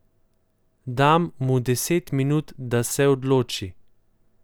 Dam mu deset minut, da se odloči.